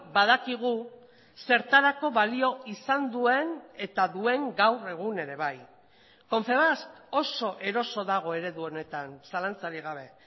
badakigu zertarako balio izan duen eta duen gaur egun ere bai confebask oso eroso dago eredu honetan zalantzarik gabe